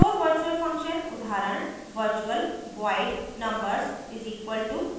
pure virtual function उदाहरण virtual void numbers = 0;